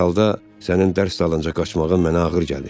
Hər halda, sənin dərs dalınca qaçmağın mənə ağır gəlir.